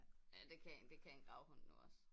Ja det kan en det kan en gravhund nu også